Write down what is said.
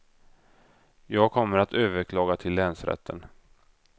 Jag kommer att överklaga till länsrätten.